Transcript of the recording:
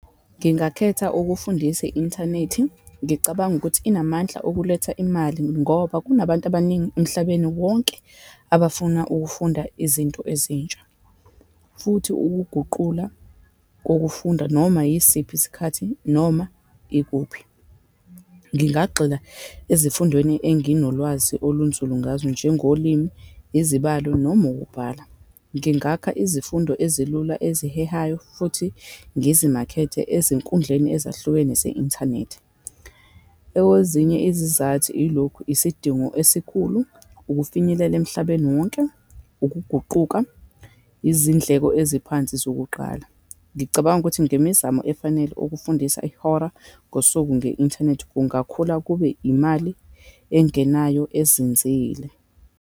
Ngingakhetha ukufundisa i-inthanethi. Ngicabanga ukuthi inamandla okuletha imali, ngoba kunabantu abaningi emhlabeni wonke abafuna ukufunda izinto ezintsha, futhi ukuguqula kokufunda, noma yisiphi isikhathi, noma ikuphi. Ngingagxila ezifundweni enginolwazi olunzulu ngazo, njengolimi, izibalo, noma ukubhala. Ngingakha izifundo ezilula ezihehayo, futhi ngizimakethe ezinkundleni ezahlukene ze-inthanethi. Ewezinye izizathu yilokhu, isidingo esikhulu, ukufinyelela emhlabeni wonke, ukuguquka, izindleko eziphansi zokuqala. Ngicabanga ukuthi ngemizamo efanele ukufundisa ihora ngosuku nge-inthanethi kungakhula kube imali engenayo ezinzile.